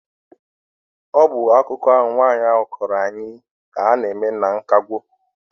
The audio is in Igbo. Ọ bụ akụkọ ahụ nwaanyị ahụ kọrọ anyị ka ha na-eme na nkwago.